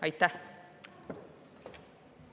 Aitäh!